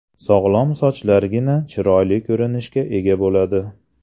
Sog‘lom sochlargina chiroyli ko‘rinishga ega bo‘ladi.